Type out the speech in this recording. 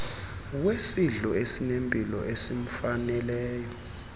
wesidlo esinempilo esimfaneleyo